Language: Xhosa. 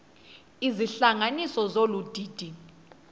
izihlanganisi zolu didi